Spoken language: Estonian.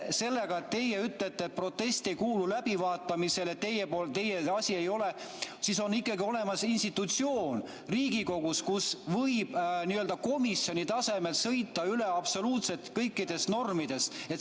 Kui teie ütlete, et protest ei kuulu läbivaatamisele, teie asi see ei ole, siis on ikkagi olemas institutsioon Riigikogus, kus võib n-ö komisjoni tasemel sõita üle absoluutselt kõikidest normidest.